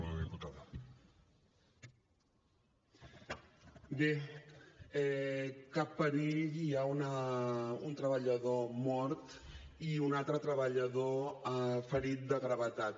bé cap perill i hi ha un treballador mort i un altre treballador ferit de gravetat